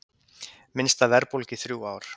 Minnsta verðbólga í þrjú ár